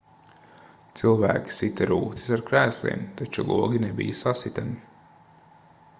cilvēki sita rūtis ar krēsliem taču logi nebija sasitami